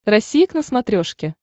россия к на смотрешке